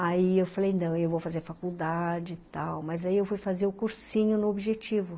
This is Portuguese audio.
Aí eu falei, não, eu vou fazer faculdade e tal, mas aí eu fui fazer o cursinho no Objetivo.